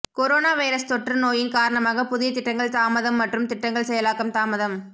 corona virus தொற்று நோயின் காரணமாக புதிய திட்டங்கள் தாமதம் மற்றும் திட்டங்கள் செயலாக்கம் தாமதம்